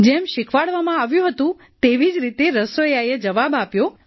જેમ શિખવાડવામાં આવ્યું હતું તેવી જ રીતે રસોઈયાએ જવાબ આપ્યો